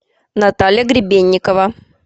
наталья гребенникова